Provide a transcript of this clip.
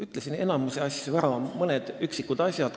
Ütlesin enamiku asju juba ära, nüüd veel mõni üksik asi.